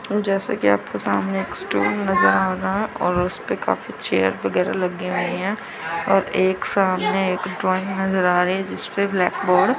जैसा कि आपके सामने एक स्टूल नजर आ रहा है और उसपे काफी चेयर वगैरा लगी हुई हैं और एक सामने एक ड्राइंग नजर आ रही है जिसपे ब्लैक बोर्ड --